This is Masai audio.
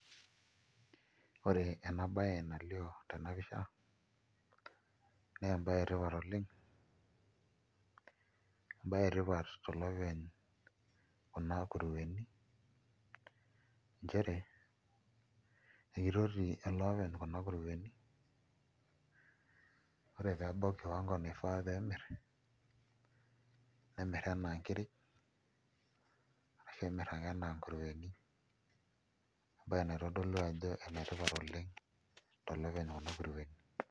Ore enabaye nalioo tena pisha naa embaye etipat oleng', embaye etipat tolopeny' kuna kurueni, nchere ekitoti elee openy kuna kurueni ore pee ebau kiwangu naifaa pee emirr nemirr enaa nkiri arashu emirr ake enaa nkurueni embaye naitodolu ajo enetipat oleng' tolopeny kuna kurueni.